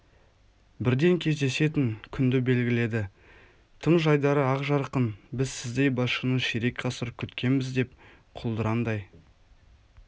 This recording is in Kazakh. бірден кездесетін күнді белгіледі тым жайдары ақ жарқын біз сіздей басшыны ширек ғасыр күткенбіз деп құлдыраңдай